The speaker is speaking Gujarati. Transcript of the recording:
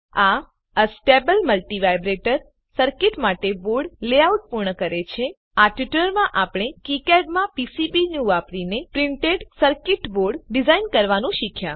આ એસ્ટેબલ મલ્ટિવાઇબ્રેટર સર્કીટ માટે બોર્ડ લેઆઉટ પૂર્ણ કરે છે આ ટ્યુટોરીયલમાં આપણે કિકાડ માં પીસીબીન્યૂ વાપરીને પ્રિન્ટેડ સર્કીટ બોર્ડ ડીઝાઇન કરવાનું શીખ્યા